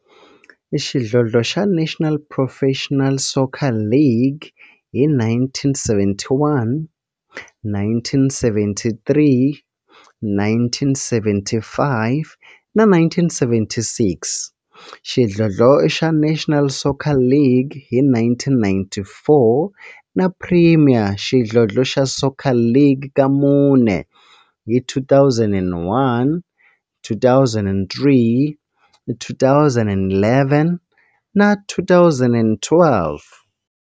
Xidlodlo xa National Professional Soccer League hi 1971, 1973, 1975 na 1976, xidlodlo xa National Soccer League hi 1994, na Premier Xidlodlo xa Soccer League ka mune, hi 2001, 2003, 2011 na 2012.